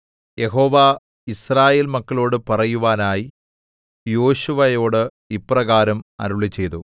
യഹോവ യിസ്രായേൽ മക്കളോട് പറയുവാനായി യോശുവയോട് ഇപ്രകാരം അരുളിച്ചെയ്തു